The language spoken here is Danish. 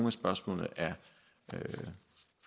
af spørgsmålene er